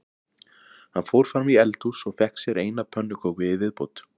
Hann fór fram í eldhús og fékk sér eina pönnuköku í viðbót